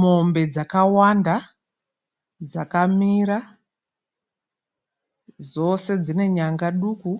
Mombe dzakawanda dzakamira dzose dzine nyanga duku